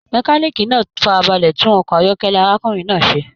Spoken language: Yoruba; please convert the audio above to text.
Mekaniiki náà farabalẹ tún ọkọ ayọkẹlẹ arákùnrin náà ṣe.